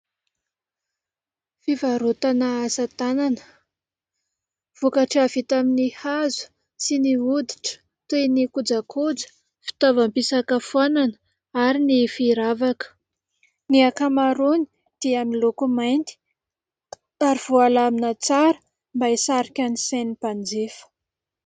Fivarotana asa tanana. Vokatra vita amin'ny hazo sy ny hoditra toy ny kojakoja, fitaovam-pisakafoanana ary ny firavaka. Ny ankamaroany dia miloko mainty ary voalamina tsara mba hisarika ny sain'ny mpanjifa.